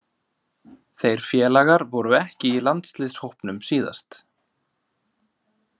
Þeir félagar voru ekki í landsliðshópnum síðast.